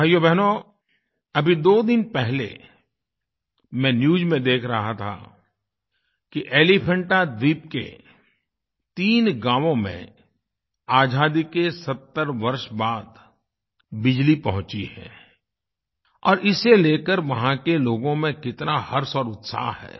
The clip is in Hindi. भाइयोबहनो अभी दो दिन पहले मैं न्यूज़ में देख रहा था कि एलीफेंटा द्वीप के तीन गाँवों में आज़ादी के 70 वर्ष बाद बिजली पहुँची है और इसे लेकर वहाँ के लोगों में कितना हर्ष और उत्साह है